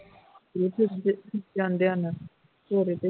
ਜਾਂਦੇ ਹਨ